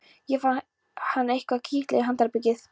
Þá fann hann eitthvað kitla sig í handarbakið.